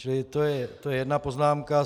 Čili to je jedna poznámka.